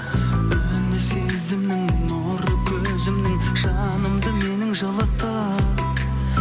үні сезімнің нұрлы көзіңнің жанымды менің жылытты